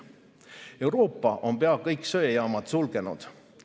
Euroopa on pea kõik söejaamad sulgenud.